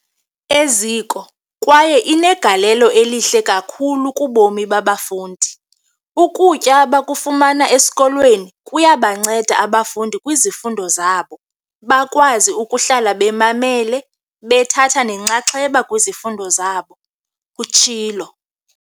"eziko kwaye inegalelo elihle kakhulu kubomi babafundi. Ukutya abakufumana esikolweni kuyabanceda abafundi kwizifundo zabo, bakwazi ukuhlala bemamele bethatha nenxaxheba kwizifundo zabo," utshilo.